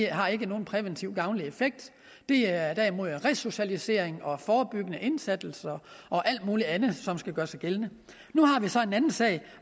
har ikke nogen præventiv gavnlig effekt det er derimod resocialisering og forebyggende indsats og alt muligt andet som skal gøre sig gældende nu har vi så en anden sag